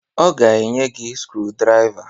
Ọ ga-enye gị skrudraiva.